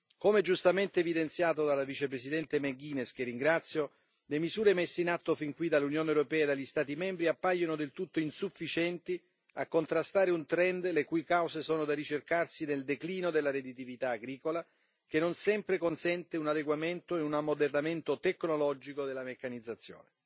Come giustamente evidenziato dalla Vicepresidente McGuinness, che ringrazio, le misure messe in atto fin qui dall'Unione europea e dagli Stati membri appaiono del tutto insufficienti a contrastare un trend le cui cause sono da ricercarsi nel declino della redditività agricola, che non sempre consente un adeguamento e un ammodernamento tecnologico della meccanizzazione.